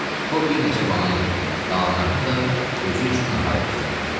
O bir neçə banan yedi, qalanlarını da özü üçün nahara gizlətdi.